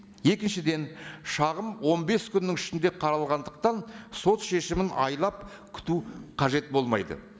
екіншіден шағым он бес күннің ішінде қаралғандықтан сот шешімін айлап күту қажет болмайды